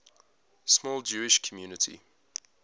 small jewish community